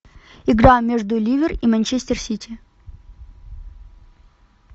игра между ливер и манчестер сити